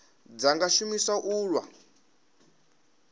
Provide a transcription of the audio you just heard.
dza nga shumiswa u lwa